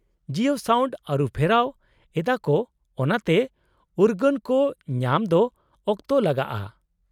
-Jio sound ᱟᱹᱨᱩᱯᱷᱮᱨᱟᱣ ᱮᱫᱟᱠᱚ ᱚᱱᱟᱛᱮ ᱩᱨᱜᱟᱹᱱ ᱠᱚ ᱧᱟᱢ ᱫᱚ ᱚᱠᱛᱚ ᱞᱟᱜᱟᱜᱼᱟ ᱾